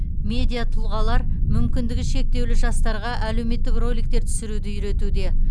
медиа тұлғалар мүмкіндігі шектеулі жастарға әлеуметтік роликтер түсіруді үйретуде